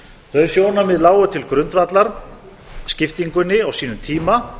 þau sjónarmið lágu til grundvallar skiptingunni á sínum tíma